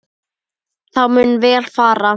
Þá mun vel fara.